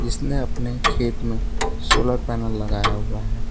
उसने अपने खेत में सोलर पैनल लगाया हुआ है।